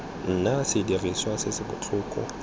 nna sediriswa se se botlhokwa